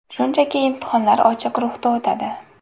Shunchaki imtihonlar ochiq ruhda o‘tadi.